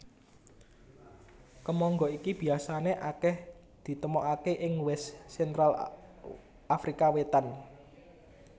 Kemangga iki biasané akèh ditemokaké ing West Central Afrika Wétan